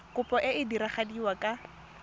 kopo e e diragadiwa ka